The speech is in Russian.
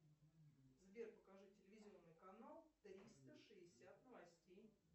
сбер покажи телевизионный канал триста шестьдесят новостей